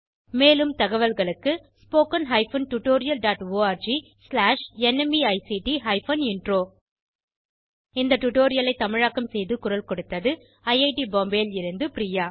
மேலும் தகவல்களுக்கு spoken hyphen tutorial dot org slash NMEICT hyphen intro இந்த டுடோரியலை தமிழாக்கம் செய்து குரல் கொடுத்தது ஐஐடி பாம்பேவில் இருந்து பிரியா